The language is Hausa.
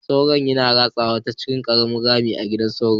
Sauro ya ratsa ta cikin ƙaramin rami a gidan sauron.